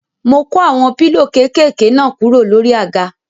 Mo kó àwọn pílò kéékèké náà kúrò lórí àga.